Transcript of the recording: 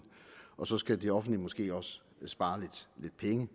og så skal det offentlige måske også spare lidt penge